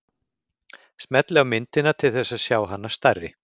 Smellið á myndina til þess að sjá hana stærri.